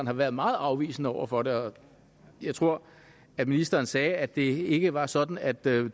har været meget afvisende over for det og jeg tror at ministeren sagde at det ikke var sådan at det